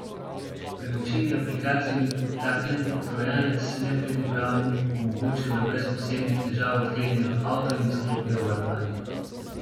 Pri večini aplikacij bi podtaknjen trojanec nepridipravom omogočil, da brez posebnih težav odklenejo avto in izklopijo varovanje.